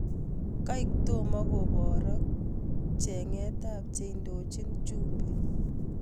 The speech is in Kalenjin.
kaek tomo koborok chenget ap che indochin jumbe.